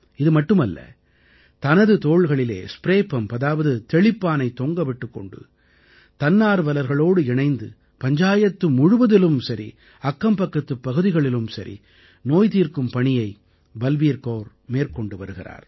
இது மட்டுமல்ல தனது தோள்களிலே ஸ்ப்ரே பம்ப் அதாவது தெளிப்பானைத் தொங்க விட்டுக் கொண்டு தன்னார்வலர்களோடு இணைந்து பஞ்சாயத்து முழுவதிலும் சரி அக்கம்பக்கத்துப் பகுதிகளிலும் நோய்நீக்கும் பணியை பல்பீர் கௌர் மேற்கொண்டு வருகிறார்